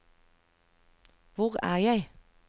hvor er jeg